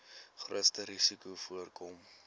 grootste risikos voorkom